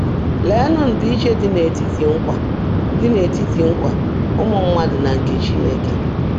Leenụ ndịiche dị n’etiti nkwa dị n’etiti nkwa ụmụ mmadụ na nke Chineke!